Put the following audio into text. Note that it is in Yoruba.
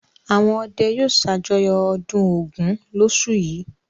Àwọn ọdẹ yóò ṣàjọyọ̀ ọdún Ògún lóṣù yìí.